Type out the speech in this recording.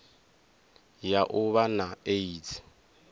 ya u vha na aids